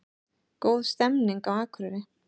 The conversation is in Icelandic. Góð stemning á Akureyri